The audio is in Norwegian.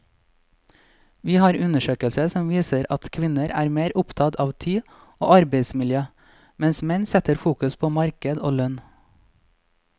Vi har undersøkelser som viser at kvinner er mer opptatt av tid og arbeidsmiljø, mens menn setter fokus på marked og lønn.